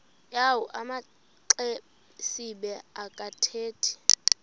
yawo amaxesibe akathethi